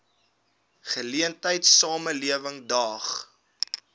geleentheid samelewing daag